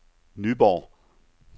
Nyborg